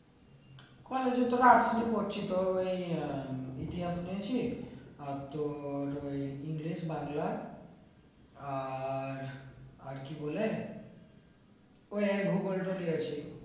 college এ তো রাত্রে পড়ছি তো এই উম ইতিহাস নিয়েছি আর তোর ওই english বাংলা আর আর কি বলে ওই ভূগোল তো নিয়েছি